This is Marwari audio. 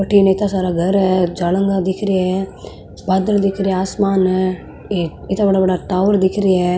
अठीने इता सारा घर है झालंगा दिखरा है बादल दिखरा आसमान है इत्ता बड़ा बड़ा टावर दिख रिया है।